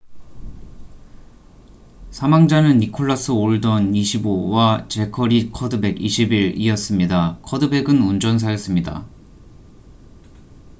사망자는 니콜라스 올던25과 재커리 커드백21이었습니다. 커드백은 운전사였습니다